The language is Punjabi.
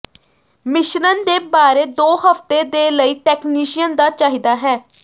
ਮਿਸ਼ਰਣ ਦੇ ਬਾਰੇ ਦੋ ਹਫ਼ਤੇ ਦੇ ਲਈ ਟੈਕਨੀਸ਼ੀਅਨ ਦਾ ਚਾਹੀਦਾ ਹੈ